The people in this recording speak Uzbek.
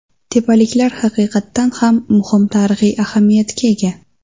Tepaliklar haqiqatan ham muhim tarixiy ahamiyatga ega.